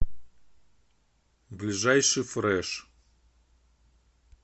ближайший фрэш